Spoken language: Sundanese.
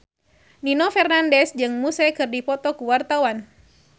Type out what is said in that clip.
Nino Fernandez jeung Muse keur dipoto ku wartawan